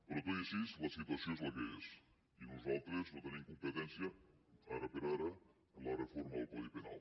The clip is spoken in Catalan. però tot i així la situació és la que és i nosaltres no tenim competència ara per ara en la reforma del codi penal